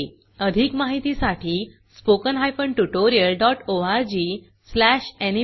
अधिक माहितीसाठी spoken hyphen tutorial dot ORG slash NMEICT hyphen intro ला भेट द्या